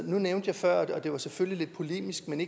nævnte jeg før og det var selvfølgelig lidt polemisk men